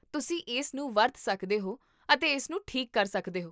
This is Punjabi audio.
ਤੁਸੀਂ ਇਸਨੂੰ ਵਰਤ ਸਕਦੇ ਹੋ ਅਤੇ ਇਸਨੂੰ ਠੀਕ ਕਰ ਸਕਦੇ ਹੋ